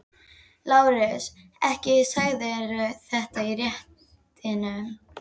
LÁRUS: Ekki sagðirðu þetta í réttinum.